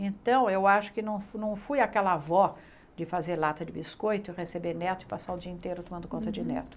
Então, eu acho que não não fui aquela avó de fazer lata de biscoito, receber neto e passar o dia inteiro tomando conta de neto.